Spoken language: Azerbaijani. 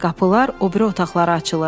Qapılar o biri otaqlara açılırdı.